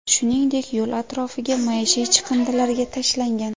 Shuningdek, yo‘l atrofiga maishiy chiqindilarga tashlangan.